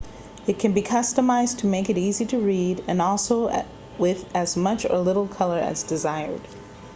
it can be customized to make it easy to read and also with as much or little color as desired